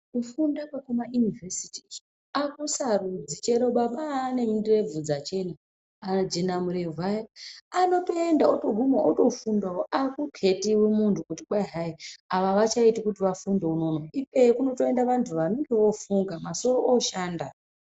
Kufunda kwekuma univhesiti akusarudzi chero baba ane ndebvu dzachena ajenamurebvu aya anotoenda otoguma otofundawo akukhetiwi muntu kuti kwai hai ava avachaiti kuti vafunde unono, ikweyo kunotoenda vantu vanenge vofunga masoro oshanda.